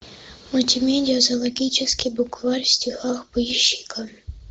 мультимедиа зоологический букварь в стихах поищи ка